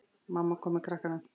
Mamma kom með krakkana.